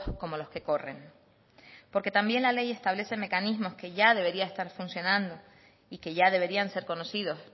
como los que corren porque también la ley establece mecanismos que ya deberían estar funcionando y que ya deberían ser conocidos